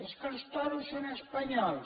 és que els toros són espanyols